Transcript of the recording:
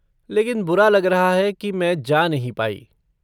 लेकिन बुरा लग रहा है की मैं जा नहीं पाई।